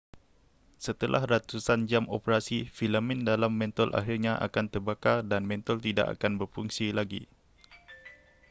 setelah ratusan jam operasi filamen dalam mentol akhirnya akan terbakar dan mentol tidak akan berfungsi lagi